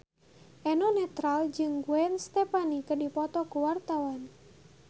Eno Netral jeung Gwen Stefani keur dipoto ku wartawan